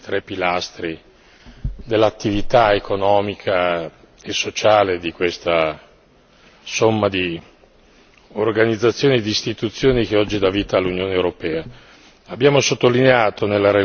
Della Vedova, il mercato interno è uno dei tre pilastri dell'attività economica e sociale di questa somma di organizzazioni e di istituzioni che oggi dà vita all'Unione europea.